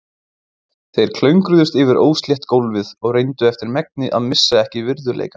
Þeir klöngruðust yfir óslétt gólfið og reyndu eftir megni að missa ekki virðuleikann.